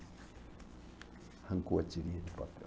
Arrancou a tirinha de papel.